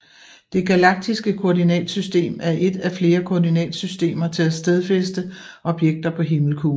Det galaktiske koordinatsystem er et af flere koordinatsystemer til at stedfæste objekter på himmelkuglen